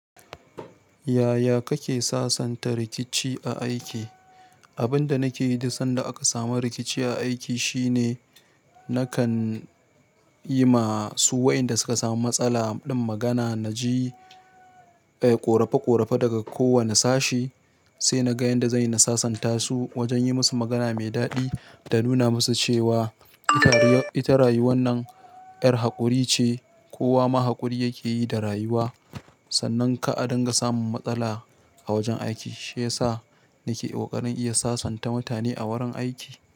Yaya kake sasanta rikici a aiki? Abin da nake yi duk sanda aka samu rikici a aiki shine nakan yi ma su waɗanda suka samu matsala ɗin magana. Naji, eh ƙorfe ƙorfe daga kowane sashi, sai naga yanda zanyi na sasanta su wajen yi musu magana mai daɗi da nuna musu cewa ita rayuwar nan yar haƙuri ce kowa ma haƙuri yake yi da rayuwa. Sannan kar adunga samun matsala a wajen aiki shiyasa nake ƙoƙarin iya sasanta mutane a wurin aiki.